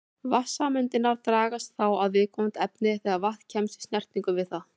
Vatnssameindirnar dragast þá að viðkomandi efni þegar vatn kemst í snertingu við það.